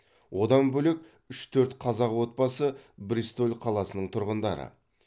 одан бөлек үш төрт қазақ отбасы бристоль қаласының тұрғындары